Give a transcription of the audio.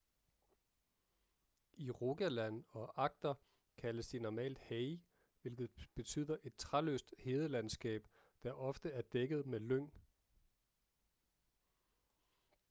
i rogaland og agder kaldes de normalt hei hvilket betyder et træløst hedelandskab der ofte er dækket med lyng